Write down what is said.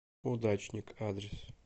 удачник адрес